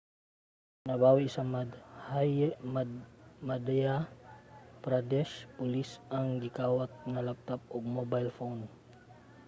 nabawi sa madhya pradesh police ang gikawat nga laptop ug mobile phone